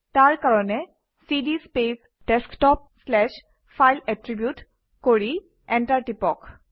তাৰ কাৰণে CD space desktop slash file attribute কৰি এণ্টাৰ টিপক